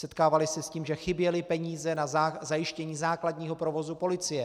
Setkávali se s tím, že chyběly peníze na zajištění základního provozu policie.